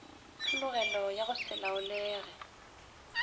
tlhologelo ya go se laolege